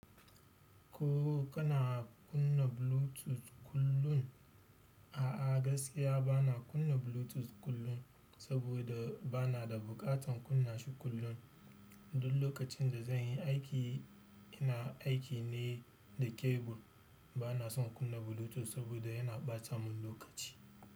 Ko kana kunna Bluetooth kullum? A'a gaskiya bana kunna Bluetooth kullum, saboda bana da buƙatar kunna shi kullum. Duk lokacin da zan yi aiki, ina aiki ne da kebul. Bana son kunna Bluetooth saboda yana ɓata mun lokaci.